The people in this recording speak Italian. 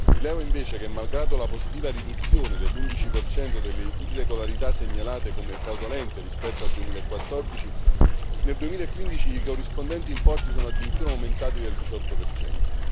Rilevo invece che, malgrado la positiva riduzione dell'11 per cento delle irregolarità segnalate come fraudolente rispetto al 2014, nel 2015 i corrispondenti importi sono addirittura aumentati del 18 per cento.